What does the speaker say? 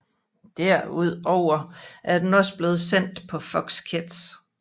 Derudover er den også blevet sendt på Fox Kids